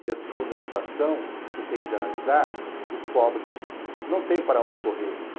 E a segunda situação que tenho de analisar, os pobres não têm para onde correr.